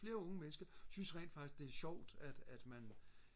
flere unge mennesker synes rent faktisk det er sjovt at at man